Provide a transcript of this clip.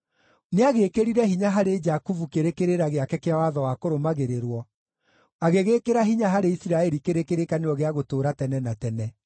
Nĩagĩĩkĩrire hinya harĩ Jakubu kĩrĩ kĩrĩra gĩake kĩa watho wa kũrũmagĩrĩrwo, agĩgĩĩkĩra hinya harĩ Isiraeli kĩrĩ kĩrĩkanĩro gĩa gũtũũra tene na tene: